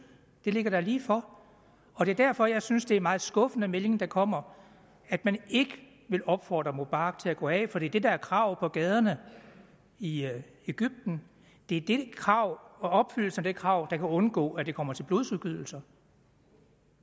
det ligger da lige for det er derfor jeg synes det er en meget skuffende melding der kommer at man ikke vil opfordre mubarak til at gå af for det er det der er kravet på gaderne i egypten det er det krav og opfyldelsen af det krav der kan undgå at det kommer til blodsudgydelser